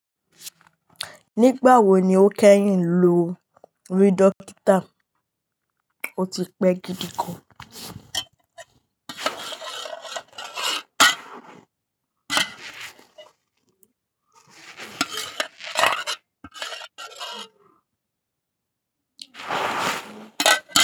Nígbà wo ni o kẹ́yìn lo rí dókítà? O ti pẹ́ gidi gan.